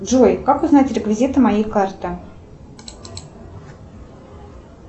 джой как узнать реквизиты моей карты